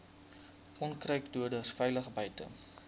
onkruiddoders veilig buite